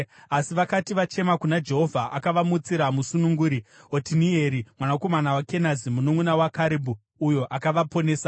Asi vakati vachema kuna Jehovha, akavamutsira musununguri, Otinieri mwanakomana waKenazi, mununʼuna waKarebhu, uyo akavaponesa.